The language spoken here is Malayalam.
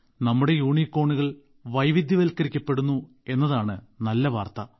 നമ്മുടെ യൂണികോണുകൾ വൈവിധ്യവത്ക്കരിക്കപ്പെടുന്നു എന്നതാണ് നല്ല വാർത്ത